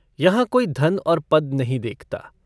यहाँ कोई धन और पद नहीं देखता।